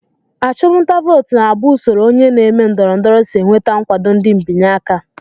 Achụmnta vootu na-abụ usoro onye na-eme ndọrọndọrọ si enweta nkwado ndị mbịanye aka